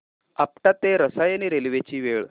आपटा ते रसायनी रेल्वे ची वेळ